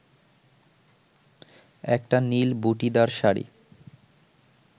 একটা নীল বুটিদার শাড়ি